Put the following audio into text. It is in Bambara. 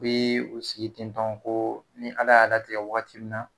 Bi u sigi tentɔ ko ni Ala y'a latigɛ waati min na